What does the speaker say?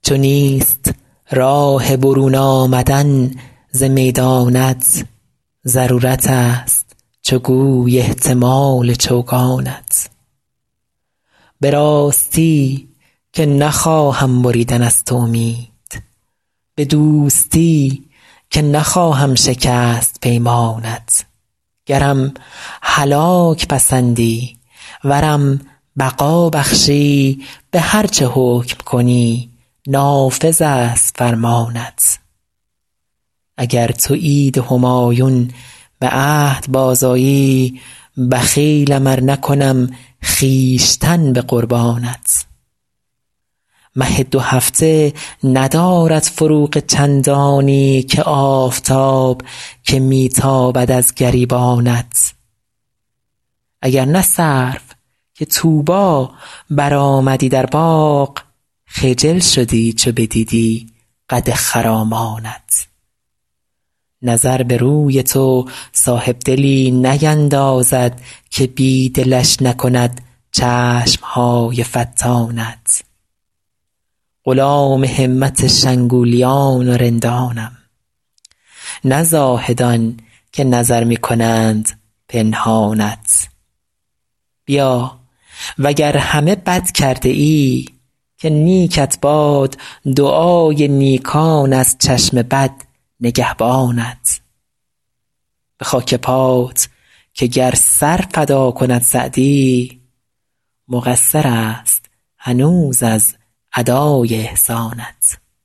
چو نیست راه برون آمدن ز میدانت ضرورتست چو گوی احتمال چوگانت به راستی که نخواهم بریدن از تو امید به دوستی که نخواهم شکست پیمانت گرم هلاک پسندی ورم بقا بخشی به هر چه حکم کنی نافذست فرمانت اگر تو عید همایون به عهد بازآیی بخیلم ار نکنم خویشتن به قربانت مه دوهفته ندارد فروغ چندانی که آفتاب که می تابد از گریبانت اگر نه سرو که طوبی برآمدی در باغ خجل شدی چو بدیدی قد خرامانت نظر به روی تو صاحبدلی نیندازد که بی دلش نکند چشم های فتانت غلام همت شنگولیان و رندانم نه زاهدان که نظر می کنند پنهانت بیا و گر همه بد کرده ای که نیکت باد دعای نیکان از چشم بد نگهبانت به خاک پات که گر سر فدا کند سعدی مقصرست هنوز از ادای احسانت